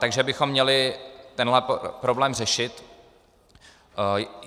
Takže bychom měli tenhle problém řešit.